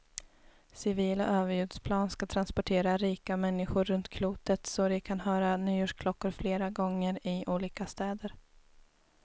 Civila överljudsplan ska transportera rika människor runt klotet så de kan höra nyårsklockor flera gånger, i olika städer.